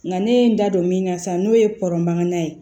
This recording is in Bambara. Nka ne ye n da don min na sa n'o ye pɔrɔn mankan ye